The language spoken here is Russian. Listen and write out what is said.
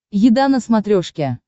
еда на смотрешке